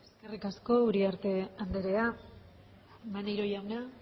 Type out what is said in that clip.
eskerrik asko uriarte andrea maneiro jauna